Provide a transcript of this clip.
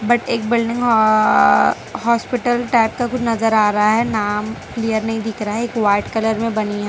But एक building हॉ hospital type का कुछ नजर आ रहा है नाम क्लियर नहीं दिख रहा है एक वाइट कलर में बनी है।